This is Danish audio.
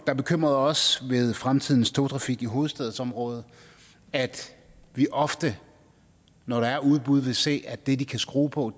der bekymrede os ved fremtidens togtrafik i hovedstadsområdet at vi ofte når der er udbud vil se at det de kan skrue på